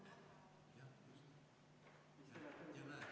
Kohaloleku kontroll, palun!